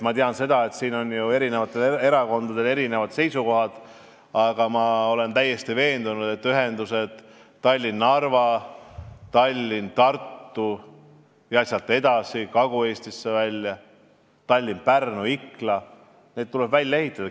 Ma tean, et erakondadel on erinevad seisukohad, aga olen täiesti veendunud, et ühendused Tallinn–Narva, Tallinn–Tartu ja sealt edasi, Kagu-Eestisse välja, ka Tallinn–Pärnu–Ikla, tuleb välja ehitada.